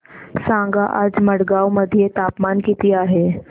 सांगा आज मडगाव मध्ये तापमान किती आहे